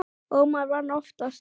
Ómar vann oftast.